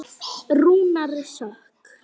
Þeir eru allir komnir út.